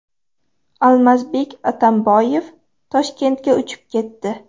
Almazbek Atamboyev Toshkentga uchib ketdi.